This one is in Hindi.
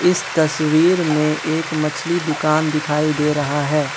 इस तस्वीर में एक मछली दुकान दिखाई दे रहा है।